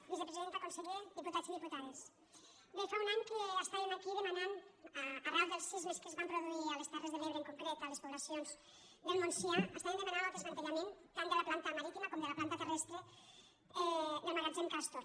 vicepresidenta conseller diputats i diputades bé fa un any que estàvem aquí de·manant arran dels sismes que es van produir a les ter·res de l’ebre en concret a les poblacions del montsià estàvem demanant el desmantellament tant de la planta marítima com de la planta terrestre del magatzem cas·tor